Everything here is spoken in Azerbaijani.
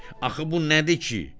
Axı bu nədir ki?